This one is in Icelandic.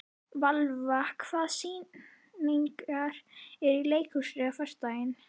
Valva, hvaða sýningar eru í leikhúsinu á föstudaginn?